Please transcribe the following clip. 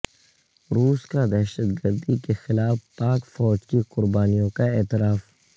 روس کا دہشت گردی کیخلاف پاک فوج کی قربانیوں کا اعتراف